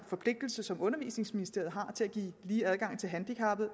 forpligtelse som undervisningsministeriet har til at give lige adgang til handicappede